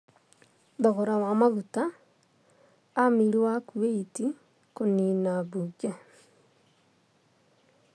Thogora wa maguta. Amir wa Kuwait kunina mbunge